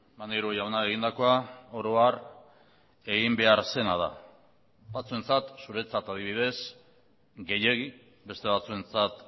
maneiro jauna egindakoa oro har egin behar zena da batzuentzat zuretzat adibidez gehiegi beste batzuentzat